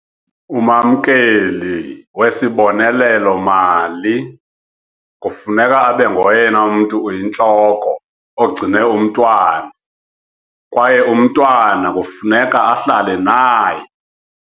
Umamkeli wesibonelelo-mali kufuneka abe ngoyena mntu uyintloko ogcine umntwana kwaye umntwana kufuneka ahlale naye.